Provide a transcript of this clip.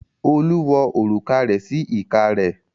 Olú wo òrùka rẹ̀ sí ìka rẹ̀.